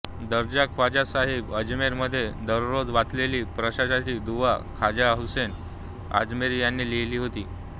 दर्गा ख्वाजा साहिब अजमेर मध्ये दररोज वाचलेली प्रकाशाची दुआ ख्वाजा हुसेन अजमेरी यांनी लिहिली होती